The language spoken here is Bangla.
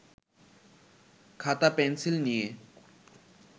খাতা-পেনসিল নিয়ে